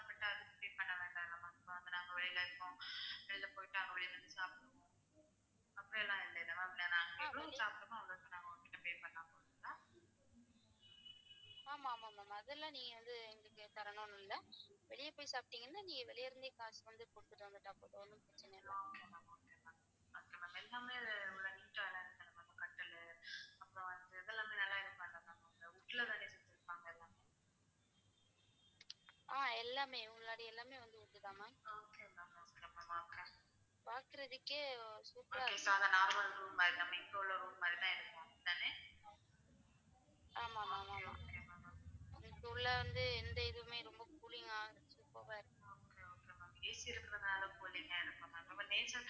நம்ம .